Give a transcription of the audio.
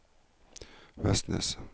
Vestnes